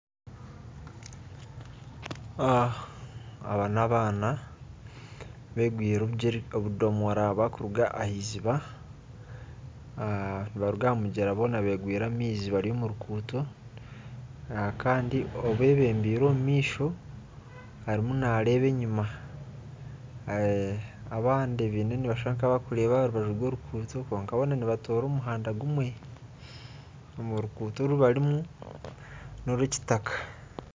Abaana begwiire obudomora barikuruga aheiziba nibaruga aha mugyera boona begwiire amaizi boona bari omu ruguuto Kandi obebembeire omu maisho ariyo naareeba enyuma abandi nibashusha nkabarikureeba aha rubaju rworuguuto kwonka boona nibatoora omuhanda gumwe oruguuto oru barimu norwitaka